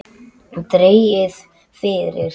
Dregið fyrir.